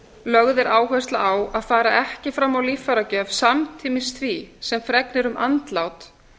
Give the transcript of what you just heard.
lögð er áhersla á að fara ekki fram á líffæragjöf samtímis því sem fregnir um andlát